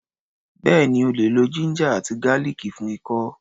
Bẹ́ẹ̀ni, o lè lo ginger àti garlic fún ikọ́.